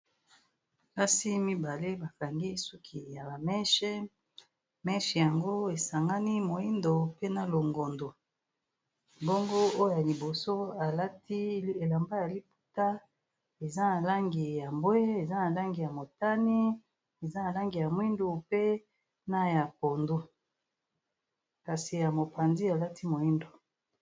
Basi mibale bakangi suki ya ba meshe, eza na langi ya moindo, pe na longondo, bongo oyo ya liboso alati elamba ya liputa eza na langi ya mbwe, eza na langi ya motani, eza na langi ya mwindu, pe na ya pondu, kasi ya mopandi alati moindo.